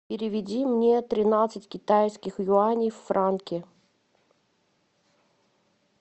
переведи мне тринадцать китайских юаней в франки